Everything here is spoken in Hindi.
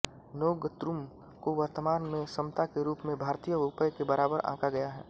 नोंग्त्रुम को वर्तमान में समता के रूप में भारतीय रुपये के बराबर आँका गया है